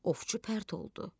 Ovçu pərt oldu.